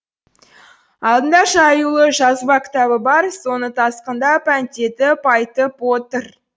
алдында жаюлы жазба кітабы бар соны тасқындап әндетіп айтып отыр